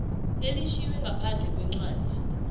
elitjhiywe ngaphandle kwencwadi